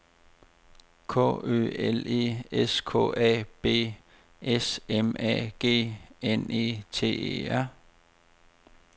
K Ø L E S K A B S M A G N E T E R